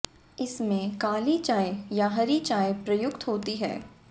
इसमें काली चाय या हरी चाय प्रयुक्त होती है